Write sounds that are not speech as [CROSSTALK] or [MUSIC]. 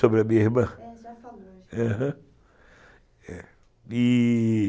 Sobre a minha irmã. Aham [UNINTELLIGIBLE]